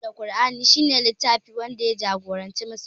Tin a baya aka saukar da Ƙur'ani wanda shi ne littfin da ya jagoranci musulmai